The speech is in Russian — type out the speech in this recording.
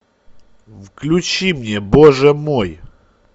включи мне боже мой